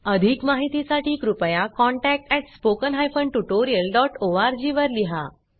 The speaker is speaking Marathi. अधिक माहिती साठी कृपया contactspoken tutorialorg वर लिहा